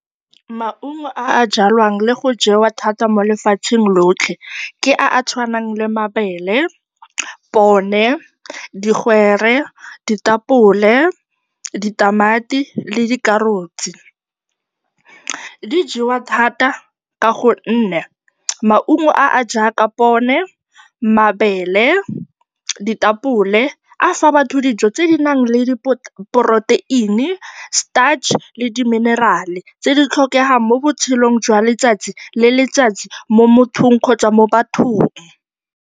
Maungo a a jwalwang le go jewa thata mo lefatsheng lotlhe ke a a tshwanang le mabele, pone, digwere, ditapole, ditamati le dikarotse. Di jewa thata ka gonne maungo a a jaaka pone, mabele, ditapole a fa batho dijo tse di nang le di-protein-i, starch le di-mineral-e tse di tlhokegang mo botshelong jwa letsatsi le letsatsi mo mothong kgotsa mo bathong.